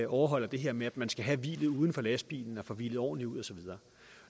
overholder det her med at man skal have hvilet uden for lastbilen og få hvilet ordentligt ud og så videre